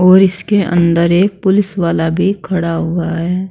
और इसके अंदर एक पुलिस वाला भी खड़ा हुआ है।